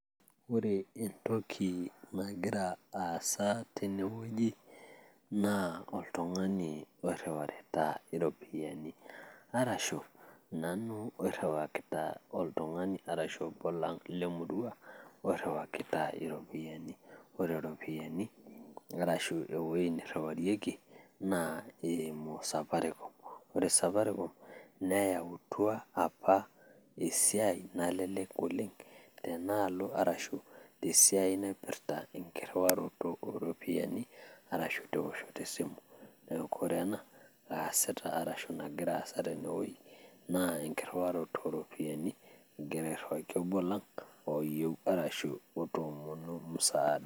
Ore entoki nagira aasa tene wueji naa oltung'ani oiriwarita iropiani arashu nanu oiriwakita oltung'ani arashu obo lang' le murrua oiriwakita iropiani. Ore ropiani arashu ewuei niriwarieki naa eimu safaricom. Ore Safaricom neyautua apa esiai nalelek oleng' tena alo arashu tesiai naipirta enkiriwaroto o ropiani arashu tewoshoto esimu. Neeku ore ena aasita arashu nagira aasa tene wuei naa ekiriwaroto o ropiani egira airiwaki obo lang' oyeu arashu egira otoomonuo msaada.